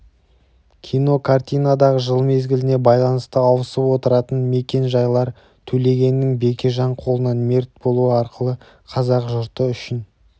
кинокартинадағы жыл мезгіліне байланысты ауысып отыратын мекен-жайлар төлегеннің бекежан қолынан мерт болуы арқылы қазақ жұрты үшін